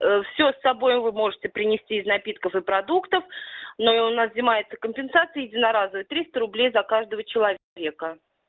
все с собой вы можете принести из напитков и продуктов но у нас взимается компенсация единоразовое тристо рублей за каждого человека